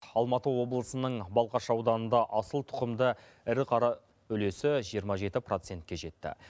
алматы облысының балқаш ауданында асыл тұқымды ірі қара үлесі жиырма жеті процентке жетті